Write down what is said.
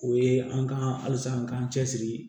O ye an ka halisa an k'an cɛsiri